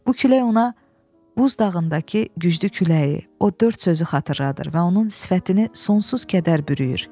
Bu külək ona buz dağındakı güclü küləyi, o dörd sözü xatırladır və onun sifətini sonsuz kədər bürüyür.